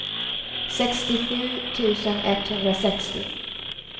sextiosju tusen etthundrasextio